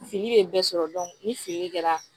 Fini bɛ bɛɛ sɔrɔ ni fini kɛra